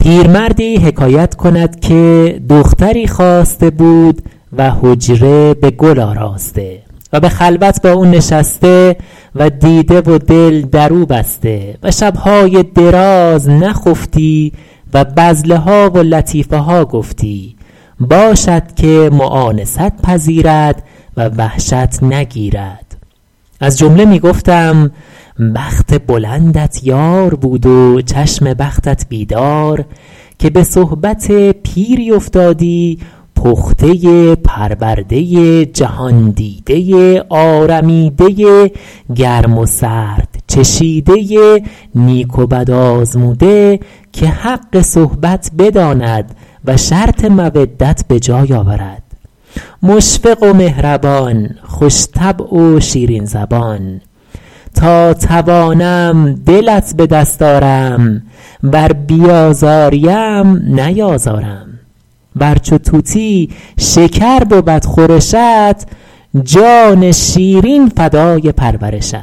پیرمردی حکایت کند که دختری خواسته بود و حجره به گل آراسته و به خلوت با او نشسته و دیده و دل در او بسته و شبهای دراز نخفتی و بذله ها و لطیفه ها گفتی باشد که مؤانست پذیرد و وحشت نگیرد از جمله می گفتم بخت بلندت یار بود و چشم بختت بیدار که به صحبت پیری افتادی پخته پرورده جهاندیده آرمیده گرم و سرد چشیده نیک و بد آزموده که حق صحبت بداند و شرط مودت به جای آورد مشفق و مهربان خوش طبع و شیرین زبان تا توانم دلت به دست آرم ور بیازاری ام نیازارم ور چو طوطی شکر بود خورشت جان شیرین فدای پرورشت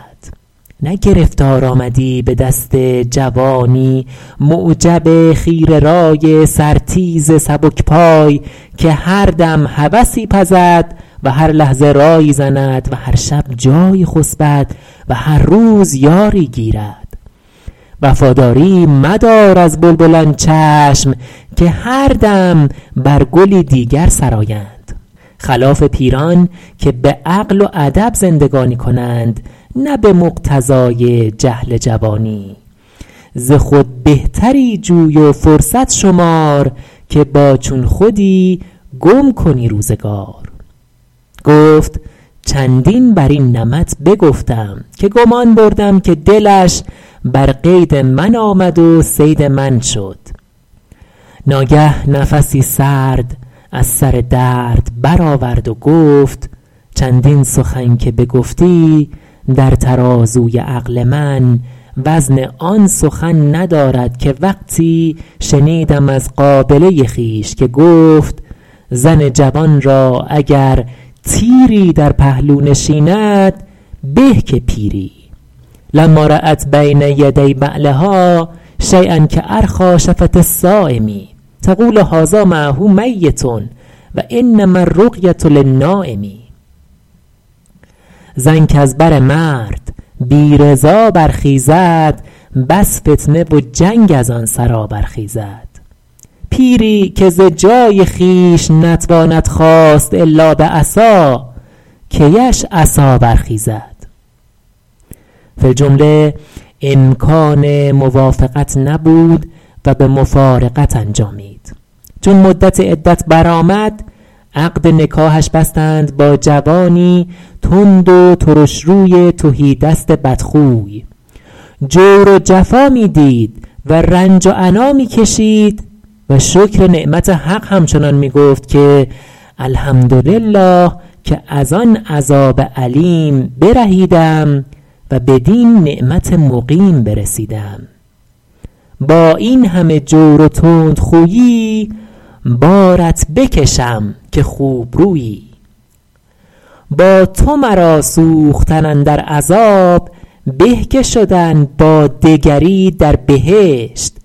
نه گرفتار آمدی به دست جوانی معجب خیره رای سر تیز سبک پای که هر دم هوسی پزد و هر لحظه رایی زند و هر شب جایی خسبد و هر روز یاری گیرد وفاداری مدار از بلبلان چشم که هر دم بر گلی دیگر سرایند خلاف پیران که به عقل و ادب زندگانی کنند نه به مقتضای جهل جوانی ز خود بهتری جوی و فرصت شمار که با چون خودی گم کنی روزگار گفت چندین بر این نمط بگفتم که گمان بردم که دلش بر قید من آمد و صید من شد ناگه نفسی سرد از سر درد بر آورد و گفت چندین سخن که بگفتی در ترازوی عقل من وزن آن سخن ندارد که وقتی شنیدم از قابله خویش که گفت زن جوان را اگر تیری در پهلو نشیند به که پیری لما رأت بین یدی بعلها شییا کأرخیٰ شفة الصایم تقول هذا معه میت و انما الرقیة للنایم زن کز بر مرد بی رضا برخیزد بس فتنه و جنگ از آن سرا برخیزد پیری که ز جای خویش نتواند خاست الا به عصا کی اش عصا برخیزد فی الجمله امکان موافقت نبود و به مفارقت انجامید چون مدت عدت بر آمد عقد نکاحش بستند با جوانی تند و ترشروی تهیدست بدخوی جور و جفا می دید و رنج و عنا می کشید و شکر نعمت حق همچنان می گفت که الحمدلله که از آن عذاب الیم برهیدم و بدین نعیم مقیم برسیدم با این همه جور و تندخویی بارت بکشم که خوبرویی با تو مرا سوختن اندر عذاب به که شدن با دگری در بهشت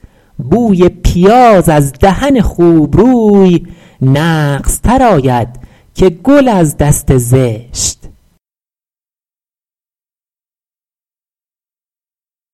بوی پیاز از دهن خوبروی نغزتر آید که گل از دست زشت